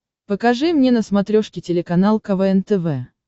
покажи мне на смотрешке телеканал квн тв